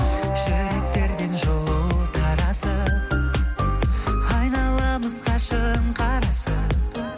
жүректерден жылу тарасып айналамыз қашан қарасып